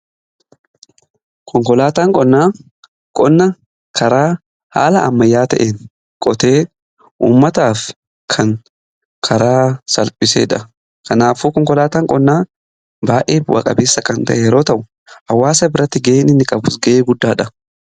Konkolaataan qonnaa qonna karaa haala ammayyaa ta'e qotee ummataaf kan karaa salphisedha. Kanaafuu konkolaataan qonnaa baay'ee bu'aa qabeesa kan ta'e yeroo ta'u, hawaasa biratti ga'ee inni qabus ga'ee guddaadha.